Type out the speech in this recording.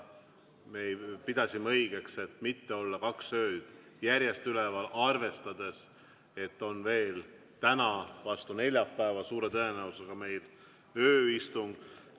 Me pidasime õigeks, et mitte olla kaks ööd järjest üleval, arvestades, et meil on veel täna vastu neljapäeva suure tõenäosusega ööistung.